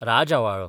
राजआंवाळो